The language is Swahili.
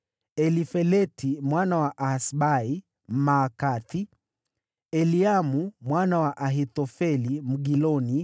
Elifeleti mwana wa Ahasbai, Mmaakathi; Eliamu mwana wa Ahithofeli, Mgiloni;